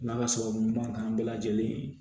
N'ala sababu ɲuman kan bɛɛ lajɛlen